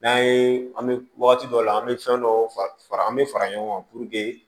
N'an ye an bɛ wagati dɔ la an bɛ fɛn dɔw fara fara an bɛ fara ɲɔgɔn kan